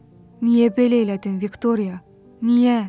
Niyə belə elədin Viktoriya, niyə?